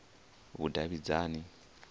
vhudavhidzani